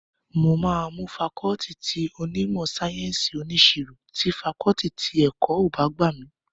Mo máa mú fakọọti ti onímọ̀ sáyẹ́ǹsì oníṣirò tí fakọọti ti ẹ̀kọ́ ọ̀ bá gbà mí